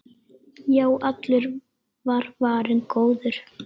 Já, allur var varinn góður!